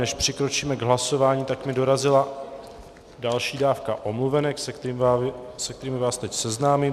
Než přikročíme k hlasování, tak mi dorazila další dávka omluvenek, se kterými vás teď seznámím.